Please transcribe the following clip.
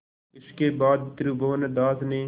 इसके बाद त्रिभुवनदास ने